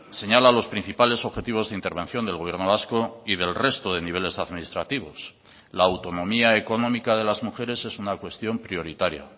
señala los principales objetivos de intervención del gobierno vasco y del resto de niveles administrativos la autonomía económica de las mujeres es una cuestión prioritaria